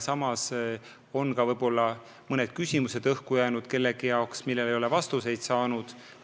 Ja õhus on küsimusi, millele me ei ole vastuseid saanud.